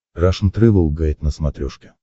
рашн тревел гайд на смотрешке